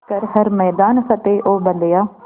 कर हर मैदान फ़तेह ओ बंदेया